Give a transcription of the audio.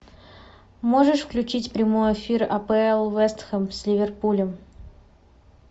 можешь включить прямой эфир апл вест хэм с ливерпулем